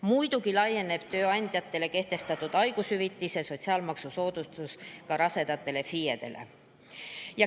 Muidugi laieneb tööandjatele kehtestatud haigushüvitise sotsiaalmaksusoodustus ka rasedatele FIE‑dele.